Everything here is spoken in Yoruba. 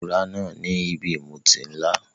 Ilé ìtura náà ni ibi ìmutí ńlá.